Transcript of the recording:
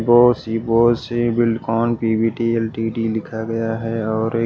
बहुत सी बहुत सी बिल्कोन पी_वी_टी एल_टी_डी लिखा गया है और ए--